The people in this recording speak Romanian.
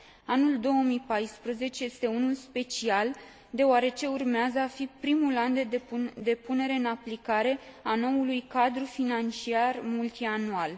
Anul 2014 este unul special, deoarece urmează a fi primul an de punere în aplicare a noului cadru financiar multianual.